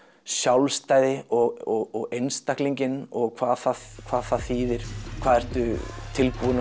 sjálfstæði og einstaklinginn og hvað það hvað það þýðir hvað ertu tilbúinn